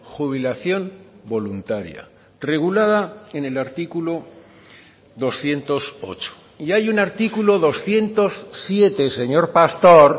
jubilación voluntaria regulada en el artículo doscientos ocho y hay un artículo doscientos siete señor pastor